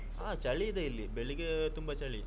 ಹಾ ಚಳಿ ಇದೆ ಇಲ್ಲಿ ಬೆಳಿಗ್ಗೆ ತುಂಬಾ ಚಳಿ.